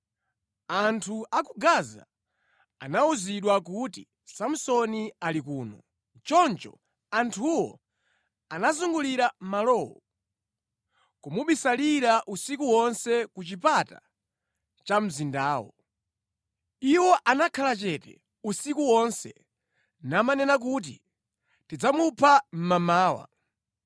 Anthu a ku Gaza anawuzidwa kuti, “Samsoni ali kuno!” Choncho anthuwo anazungulira malowo, kumubisalira usiku wonse ku chipata cha mzindawo. Iwo anakhala chete usiku wonse namanena kuti, “Tidzamupha mmamawa.”